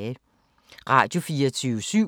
Radio24syv